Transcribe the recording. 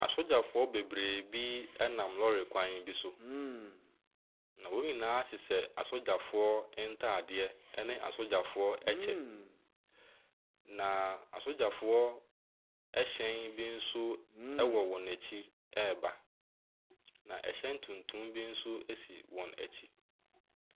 Asogyafoɔ bebree bi nam lɔre kwan bi so, na wɔn nyinaa hyehyɛ asogyafoɔ ntadeɛ ne asogyafoɔ kyɛ, na asogyafoɔ hyɛn bi nso wɔ wɔn akyi reba, na hyɛn tuntum bi nso si wɔn akyi.